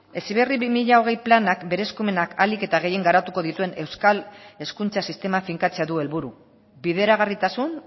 heziberri bi mila hogei planak bere eskumenak ahalik eta gehien garatuko dituen euskal hezkuntza sistema finkatzea du helburu bideragarritasun